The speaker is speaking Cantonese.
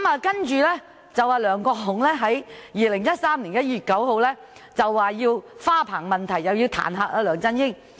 其後，梁國雄議員在2013年1月9日再就花棚問題彈劾梁振英。